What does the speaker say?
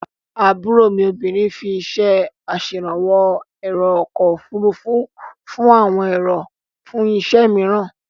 Àbúrò mi obìnrin fí iṣé aṣèrànwó ẹ̀rò ọkọ̀-ofurufú fún àwọn èrò fún iṣẹ́ mìíràn.